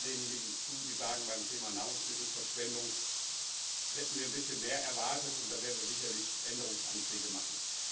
Ich stimme all denjenigen zu, die sagen, beim Thema Nahrungsmittelverschwendung hätten wir ein bisschen mehr erwartet, und da werden wir sicherlich Änderungsanträge machen.